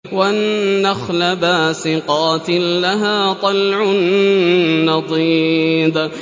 وَالنَّخْلَ بَاسِقَاتٍ لَّهَا طَلْعٌ نَّضِيدٌ